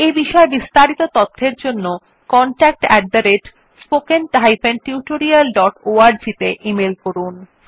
এই বিষয় বিস্তারিত তথ্যের জন্য contactspoken tutorialorg তে ইমেল করুন